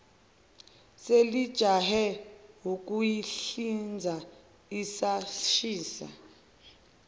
selijahe ukuyihlinza isashisa